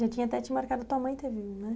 Já tinha até te marcado tua mãe ter vindo, né?